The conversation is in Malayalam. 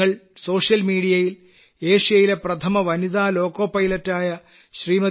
നിങ്ങൾ സോഷ്യൽമീഡിയയിൽ ഏഷ്യയിലെ പ്രഥമ വനിതാ ലോക്കോ പൈലറ്റായ ശ്രീമതി